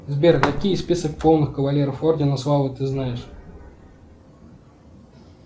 сбер какие список полных кавалеров ордена славы ты знаешь